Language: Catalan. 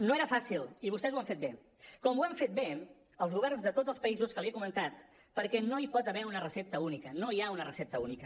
no era fàcil i vostès ho han fet bé com ho han fet bé els governs de tots els països que li he comentat perquè no hi pot haver una recepta única no hi ha una recepta única